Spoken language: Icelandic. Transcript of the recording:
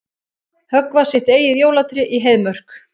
Höggva sitt eigið jólatré í Heiðmörk